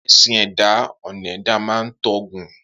Esin e eda onen da ma ton gun.